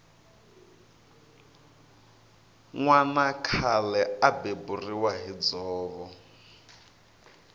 nwana khale a beburiwa hi dzovo